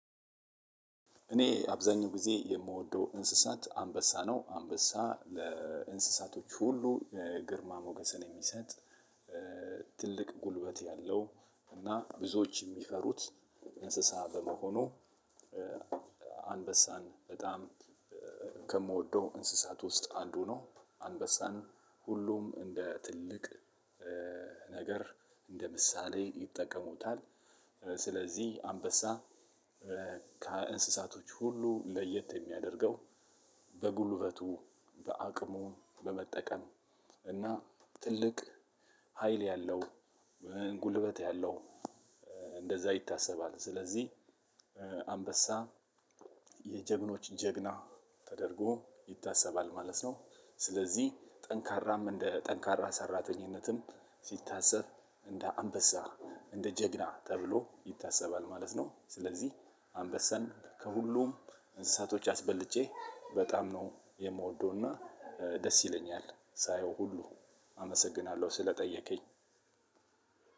እኔ አብዛኛው ጊዜ የምወደው እንስሳት አንበሳ ነው አንበሳ ለእንስሳቶች ሁሉ ግርማ ሞገስን የሚሰጥ ትልቅ ጉልበት ያለው እና ብዙዎች የሚፈሩት እንስሳ በመሆኑ። አንበሳን በጣም ከምወደው እንስሳት ውስጥ አንዱ ነው። አንበሳን ሁሉም እንደ ትልቅ ነገር እንደ ምሳሌ ይጠቀሙታል። ስለዚህ አንበሳ ከእንስሳቶች ሁሉ ለየት የሚያደርገው በጉልበቱ በአቅሙ በመጠቀም እና ትልቅ ሀይል ያለው ጉልበት ያለው እንደዛ ይታሰባል። ስለዚህ አንበሳ የጀግኖች ጀግና ተደርጎ ይታሰባል ማለት ነው። ስለዚህ ጠንካራም እንደጠንካራም ሰራተኝነትም ሲታሰብ እንደ አንበሳ እንደ ጀግና ተብሎ ይታሰባል ማለት ነው። ስለዚህ አንበሳን ከሁሉም እንስሳቶች አስበልጬ በጣም ነው የምወደው እና ደስ ይለኛል ሳየው ሁሉ አመሰግናለሁ ስለጠየቀኝ።